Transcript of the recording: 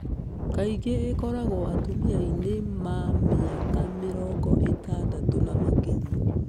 Kaingĩ ĩkoragwo atumiainĩ ma mĩaka mĩrongo itandatũ na makĩria.